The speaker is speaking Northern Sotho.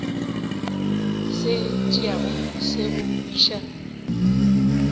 se tšeago se go iša